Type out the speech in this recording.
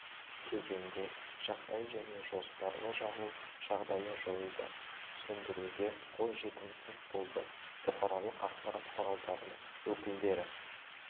кезеңде жағдай және жоспарлы жағу жағдайы жойылды сөндіруге қол жетімсіз болды бұқаралық ақпарат құралдарының өкілдері